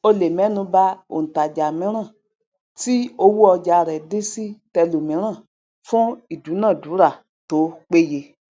o lè mẹnu ba òntajà mìíran tí owó ọjà rẹ dín sí tẹlòmíràn fún ìdúnàádúrà tó péye